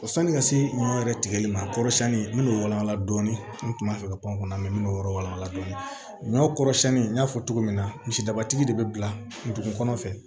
Sani ka se ɲɔ yɛrɛ tigɛli ma a kɔrɔ siɲɛli n'o walankala dɔɔnin n kun b'a fɛ ka pankɔnɔ mɛn min kɔrɔ wal'a la dɔɔni kɔrɔsiyɛnni n y'a fɔ cogo min na misidabatigi de bɛ bila dugu kɔnɔ fɛ